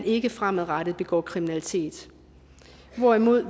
ikke fremadrettet begår kriminalitet hvorimod